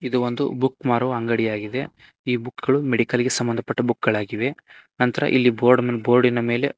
ಇದು ಒಂದು ಬುಕ್ ಮಾರುವ ಅಂಗಡಿಯಾಗಿದೆ ಈ ಬುಕ್ ಗಳು ಮೆಡಿಕಲ್ ಗೆ ಸಂಬಂಧ ಪಟ್ಟ ಬುಕ್ ಗಳಾಗಿವೆ ನಂತ್ರ ಇಲ್ಲಿ ಬೋರ್ಡ್ ಬೋರ್ಡಿನ ಮೇಲೆ--